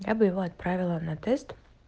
я бы его отправила на тест